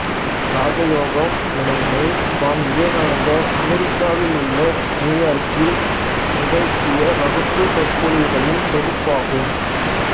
ராஜயோகம் எனும் நூல் சுவாமி விவேகானந்தர் அமெரிக்காவிலுள்ள நியூயார்க்கில் நிகழ்த்திய வகுப்புச் சொற்பொழிவுகளின் தொகுப்பு ஆகும்